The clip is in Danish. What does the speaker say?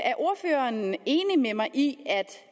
er ordføreren enig med mig i at